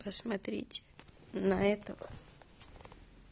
посмотрите на этого